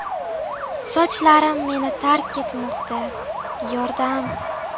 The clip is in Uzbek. Sochlarim meni tark etmoqda yordam!.